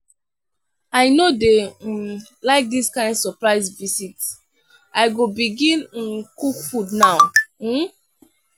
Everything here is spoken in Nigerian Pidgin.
i no dey um like dis kain surprise visit i go begin um cook food now. um